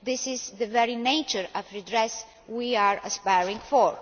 This is the very nature of redress that we are aspiring to.